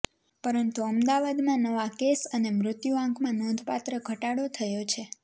પરંતુ અમદાવાદમાં નવા કેસ અને મૃત્યુઆંકમાં નોંધપાત્ર ઘટાડો થયો છે